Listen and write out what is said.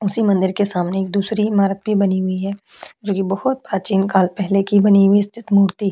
उसी मंदिर के सामने एक दूसरी इमारत भी बनी हुवी है जो की बहोत प्रचीन काल बनी हुवी स्तित मूर्ति --